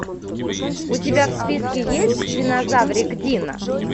у тебя в списке есть динозаврик дино